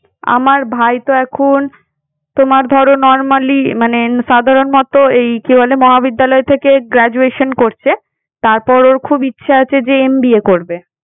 আমার ভাই তো এখন তোমার ধরো normally মানে সাধারণ মত এই কি বলে মহাবিদ্যালয় থেকে graduation করছে তারপর ওর খুব ইচ্ছা যে MBA করবে